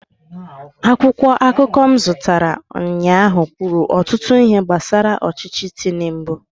akwụkwọ akụkọ m zụtara ụnyaahụ kwuru ọtụtụ ihe gbasara ọchịchị tinubu